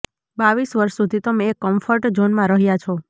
બાવીસ વર્ષ સુધી તમે એક કમ્ફર્ટ ઝોનમાં રહ્યા છો